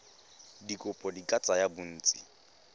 dikopo di ka tsaya bontsi